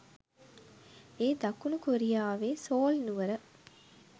ඒ දකුණු කොරියාවේ සෝල් නුවර